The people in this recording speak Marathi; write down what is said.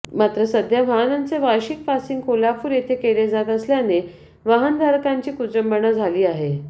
मात्र सध्या वाहनांचे वार्षिक पासिंग कोल्हापूर येथे केले जात असल्याने वाहनधारकांची कुचंबना झाली आहे